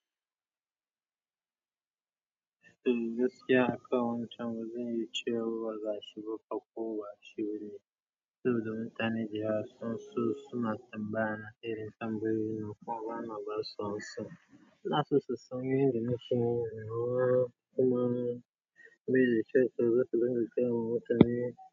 Shigo ka kowa,.shigo ne. Sai ka gan mutani da yawa sun so suna tambayya ta irin tambayoyin nan kuma bana basu amsa. Suna son cewa komai ne.